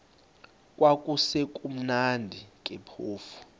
kwakusekumnandi ke phofu